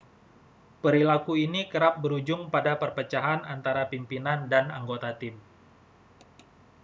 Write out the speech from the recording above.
perilaku ini kerap berujung pada perpecahan antara pimpinan dan anggota tim